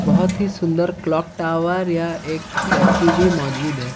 बहोत ही सुंदर क्लॉक टावर या एक स्टैचू भी मौजूद है।